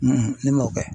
ne m'o kɛ